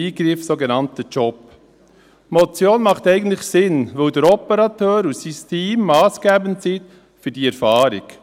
Die Motion macht eigentlich Sinn, weil der Operateur und sein Team massgebend sind für die Erfahrung.